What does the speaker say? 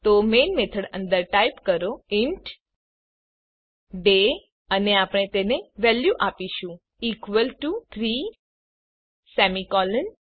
તો main method અંદર type કરો ઇન્ટ ડે અને આપણે તેને વેલ્યુ આપીશું ઇક્વલ ટીઓ 3 સેમી કોલોન